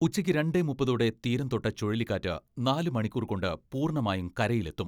ഉച്ചയ്ക്ക് രണ്ടേ മുപ്പത് ഓടെ തീരം തൊട്ട ചുഴലിക്കാറ്റ് നാല് മണിക്കൂർ കൊണ്ട് പൂർണ്ണമായും കരയിലെത്തും.